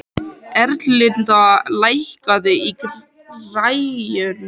Erlinda, lækkaðu í græjunum.